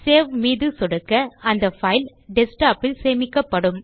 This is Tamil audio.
சேவ் மீது சொடுக்க அந்த பைல் டெஸ்க்டாப் இல் சேமிக்கப்படும்